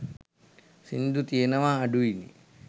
සිංදු තියෙනවා අඩුයි නේ.